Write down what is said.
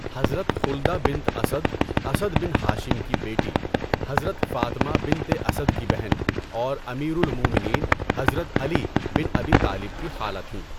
حضرت خلدہ بنت اسد، اسد بن ہاشم کی بیٹی، حضرت فاطمہ بنتِ اسد کی بہن اور امیر المومنین حضرت علی بن ابی طالب کی خالہ تھیں۔